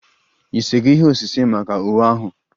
Ị sego ihe osise maka uwe ahụ?